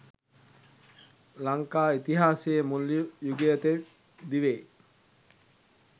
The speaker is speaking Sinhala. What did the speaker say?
ලංකා ඉතිහාසයේ මුල් යුගය තෙක් දිවේ